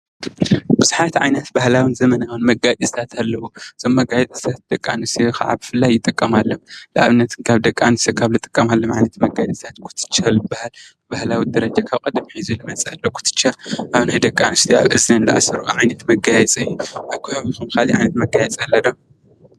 ብዘሓት ዓይነት ባህላውን ዘመናውን መጋየፅታት አለው ። እዞም መገያየፅታት ደቂ አንስትዮ ከዓ ብፍላይ ይጥቀማሎም ።ንአብነት ካብ ደቂ አንስትዮ ካብ ዝጥቀማሎም ዓይነት መጋየፅታት ኩትሻ ዝበሃል ባህላዊ ደረጃ ካብ ቀደም አትሒዙ ዝመፀ ኩትቻ አብ ናይ ደቂ አንስትዮ አብ እዝነን ዝአስረኦ ዓይነት መጋየፂ እዩ። አብ ከባቢኹም ካሊእ ዓይነት መጋየፂ አሎ ዶ?